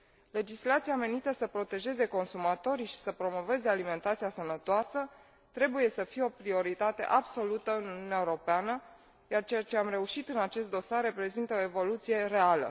Legislația menită să protejeze consumatorii și să promoveze alimentația sănătoasă trebuie să fie o prioritate absolută în Uniunea Europeană, iar ceea ce am reușit în acest dosar reprezintă o evoluție reală.